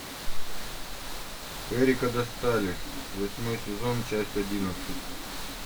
эрика достали восьмой сезон часть одиннадцать